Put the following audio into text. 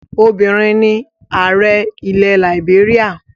Obìnrin ni ààrẹ ilẹ̀ làìbéríà.